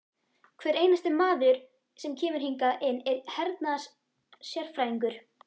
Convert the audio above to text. Hver einasti maður sem kemur hingað inn er hernaðarsérfræðingur!